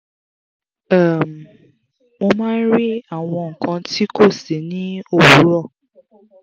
um mo máa ń rí àwọn nǹkan ti kó si ni owuro